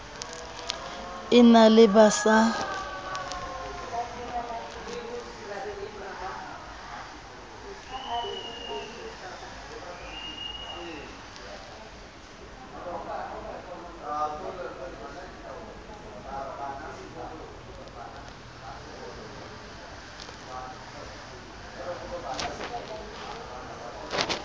e na le ba sa